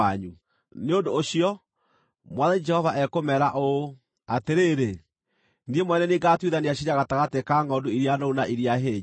“ ‘Nĩ ũndũ ũcio, Mwathani Jehova ekũmeera ũũ: Atĩrĩrĩ, niĩ mwene nĩ niĩ ngaatuithania ciira gatagatĩ ka ngʼondu iria noru na iria hĩnju.